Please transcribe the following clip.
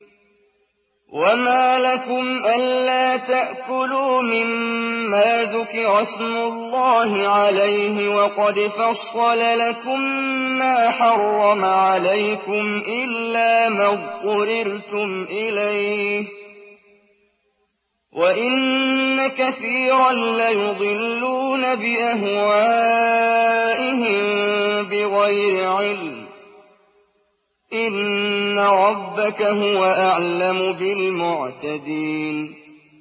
وَمَا لَكُمْ أَلَّا تَأْكُلُوا مِمَّا ذُكِرَ اسْمُ اللَّهِ عَلَيْهِ وَقَدْ فَصَّلَ لَكُم مَّا حَرَّمَ عَلَيْكُمْ إِلَّا مَا اضْطُرِرْتُمْ إِلَيْهِ ۗ وَإِنَّ كَثِيرًا لَّيُضِلُّونَ بِأَهْوَائِهِم بِغَيْرِ عِلْمٍ ۗ إِنَّ رَبَّكَ هُوَ أَعْلَمُ بِالْمُعْتَدِينَ